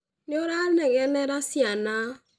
Nĩ ũranegenera ciana